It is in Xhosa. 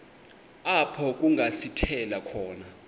apho kungasithela khona